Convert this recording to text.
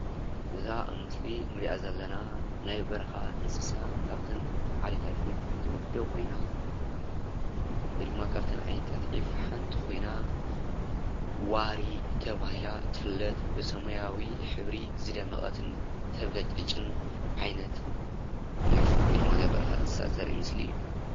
እዛ አብ ምስሊ እንሪአ ዘለና ናይ በረኻ እንስሳ ካብተን ዓይነታት ዒፍ ትምደብ ኮይና ወይ ድማ ካብተን ዓይነታት ዒፍ ሓንቲ ኮይና ዋሪ ተባሂላ ትፍለጥ ብሰማያዊ ሕብሪ ዝደመቐትን ተብለጭልጭን ዓይነት ዒፍ ወይ ድማ ናይ በረኻ እንስሳ ዘሪኢ ምስሊ እዩ፡፡